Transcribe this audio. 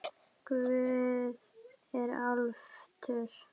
Guð er alvitur